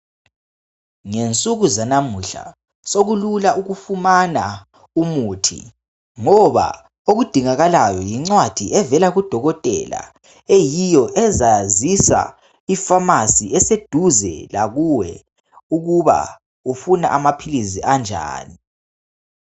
Ngensuku zanamuhla sekulula ukufumana umuthi ngoba okudingakalayo yincwadi evela kudokotela eyiyo ezazisa ifamasi eseduze lakuwe ukuthi ufuna amaphilisi anjani.